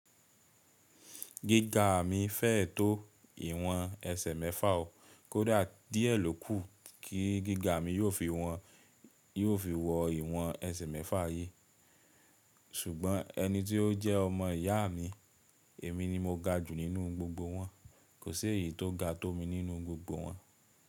Gíga mi fẹ́ẹ tó ìwọ̀n ẹsẹ̀ mẹ́fà o, kó dà díẹ̀ ló kù kí gíga mi yóò fi wọ ìwọ̀n ẹsẹ̀ mẹ́fà ayé. Ṣùgbọ́n ẹni tí ó jẹ́ ọmọ ìyá mi, èmi ni mo ga jù nínú gbogbo wọn, kò sí èyí tó ga tó mi nínú gbogbo wọn.